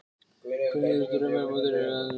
Hverjir eru svo drauma mótherjar í undanúrslitum?